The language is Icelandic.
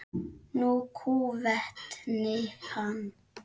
Nú kúventi hann.